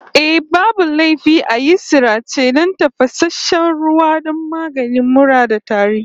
Eh, babu laifi a yi sarace da tafasasshen ruwa don maganin mura da tari